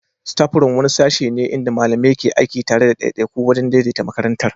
Staffroom wani sashe ne inda malamai ke aiki tare da ɗaiɗaiku wajen daidaita makarantar.